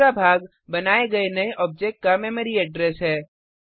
दूसरा भाग बनाये गये नये आब्जेक्ट का मेमरी एड्रेस है